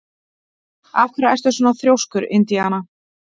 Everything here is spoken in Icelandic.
Af hverju ertu svona þrjóskur, Indiana?